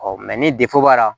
Ɔ ni b'a la